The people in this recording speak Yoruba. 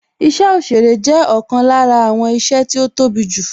Isẹ òsèrè jẹ́ isẹ ọ̀kan lára àwọn iṣẹ́ tó tóbi jù